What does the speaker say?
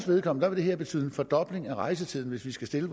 vedkommende vil det her betyde en fordobling af rejsetiden hvis de skal stille